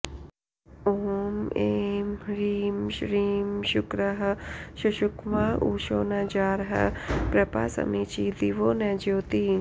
ॐ ऐं ह्रीं श्रीं शुक्रः शुशुक्वाँ उषो न जारः पप्रा समीची दिवो न ज्योतिः